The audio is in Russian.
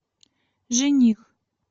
жених